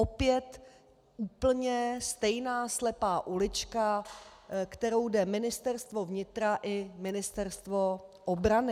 Opět úplně stejná slepá ulička, kterou jde Ministerstvo vnitra i Ministerstvo obrany.